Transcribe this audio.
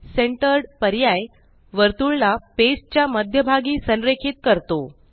centred पर्याय वर्तुळला page च्या मध्यभागी संरेखित करतो